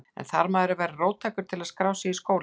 En þarf maður að vera róttækur til að skrá sig í skólann?